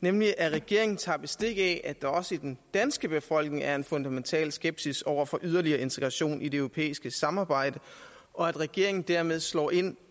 nemlig at regeringen tager bestik af at der også i den danske befolkning er en fundamental skepsis over for yderligere integration i det europæiske samarbejde og at regeringen dermed slår ind